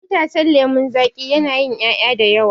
Itacen lemon zaki yana yin ƴaƴa dayawa